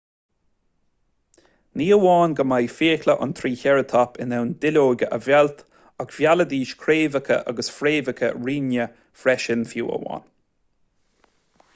ní hamháin go mbíodh fiacla an trícheireatóip in ann duilleoga a mheilt ach mheilidís craobhacha agus fréamhacha righne freisin fiú amháin